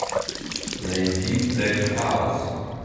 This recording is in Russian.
найди тек хаус